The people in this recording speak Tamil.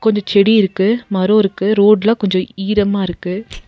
இந்த செடி இருக்கு மரொ இருக்கு ரோட்லா கொஞ்சொ ஈரமா இருக்கு.